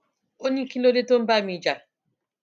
ó ní kí ló dé tó ń bá mi jà